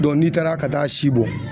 n'i taara ka taa si bɔ